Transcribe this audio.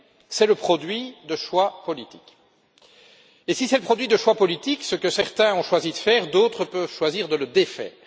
C'est le produit de choix politiques et, si c'est le produit de choix politiques, ce que certains ont choisi de faire, d'autres peuvent choisir de le défaire.